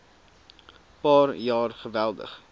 paar jaar geweldig